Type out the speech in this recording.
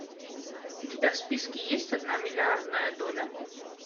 у тебя в списке есть одна миллиардная доля